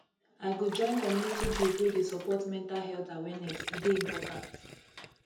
i go join community group wey dey support mental health awareness e dey important